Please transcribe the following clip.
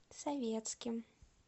советским